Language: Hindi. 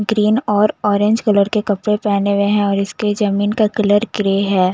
ग्रीन और ऑरेंज कलर के कपड़े पेहने हुए हैं और इसके जमीन का कलर ग्रे हैं।